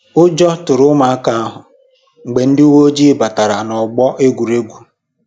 Ụjọ tụrụ ụmụaka ahụ mgbe ndị uwe ojii batara n'ọgbọ egwuregwu